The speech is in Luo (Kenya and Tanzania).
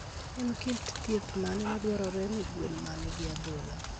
En kit thieth mane madwarore ne gwen ma nigi adhola?